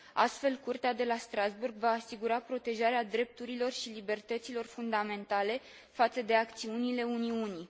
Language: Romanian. Astfel, Curtea de la Strasbourg va asigura protejarea drepturilor și libertăților fundamentale față de acțiunile Uniunii.